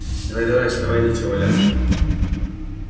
давай-давай вставай нечего валяться